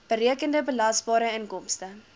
berekende belasbare inkomste